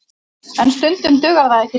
En stundum dugar það ekki til